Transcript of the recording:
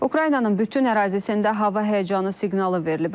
Ukraynanın bütün ərazisində hava həyəcanı siqnalı verilib.